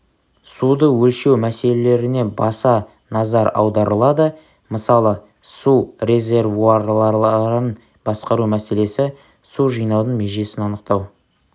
суды өлшеу мәселелеріне баса назар аударылады мысалы су резервуарларын басқару мселесі су жинаудың межесін анықтау